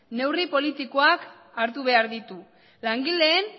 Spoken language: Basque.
neurri politikoak hartu behar ditu langileen